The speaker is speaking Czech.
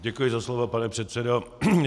Děkuji za slovo, pane předsedo.